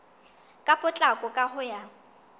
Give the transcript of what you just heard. ka potlako ka ho ya